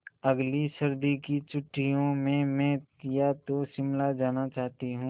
अगली सर्दी की छुट्टियों में मैं या तो शिमला जाना चाहती हूँ